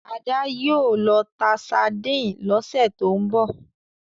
Ada yíò ló tá sardine ló sẹ to'n bọ